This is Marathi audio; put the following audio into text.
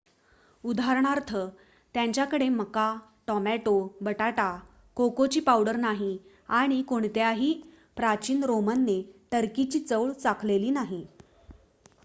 उदाहरणार्थ त्यांच्याकडे मका टोमॅटो बटाटा कोकोची पावडर नाही आणि कोणत्याही प्राचीन रोमनने टर्कीची चव चाखलेली नाही